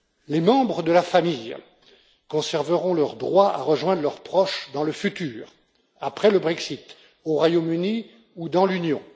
Les membres de la famille conserveront leur droit à rejoindre leurs proches dans le futur, après le Brexit, au Royaume Uni ou dans l'Union.